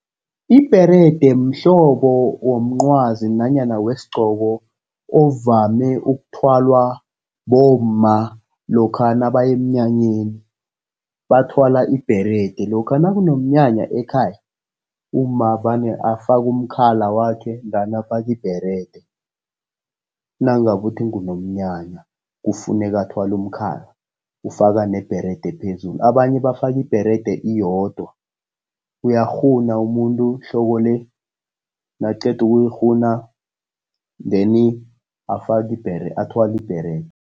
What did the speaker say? Ibherede mhlobo womncwazi nanyana wesigqoko, ovame ukuthwalwa bomma lokha nabaya emnyanyeni, bathwala ibherede. Lokha nakunomnyanya ekhaya, umma vane afake umkhala wakhe, then afake ibherede. Nangabe uthi ngunomnyanya, kufuneka athwale umkhala, ufaka nebherede ephezulu. Abanye bafaka ibherede iyodwa, uyakghuna umuntu ihloko le nakaqeda ukuyikghuna then afake athwale ibherede.